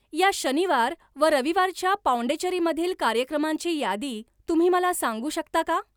या शनिवार व रविवारच्या पाँडेचेरीमधील कार्यक्रमांची यादी तुम्ही मला सांगू शकता का?